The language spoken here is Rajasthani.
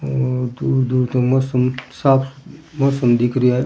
और दूर दूर तक मौसम साफ़ मौसम दिख रियो है।